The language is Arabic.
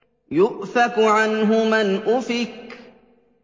يُؤْفَكُ عَنْهُ مَنْ أُفِكَ